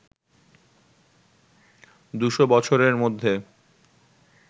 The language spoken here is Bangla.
দুশো বছরের মধ্যে